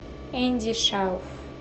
энди шауф